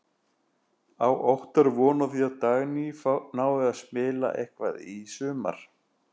Á Óttar von á því að Dagný nái að spila eitthvað í sumar?